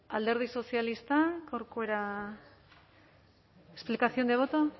alderdi sozialista corcuera explicación de voto